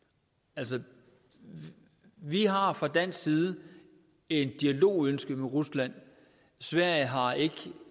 altså vi har fra dansk side et dialogønske med rusland sverige har ikke